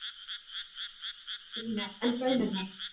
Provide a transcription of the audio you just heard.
Brynja: En baunirnar?